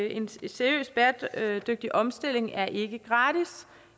en seriøs bæredygtig omstilling er ikke gratis